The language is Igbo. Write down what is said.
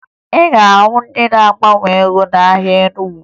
Ị ga-ahụ ndị na-agbanwe ego n'ahịa Enugu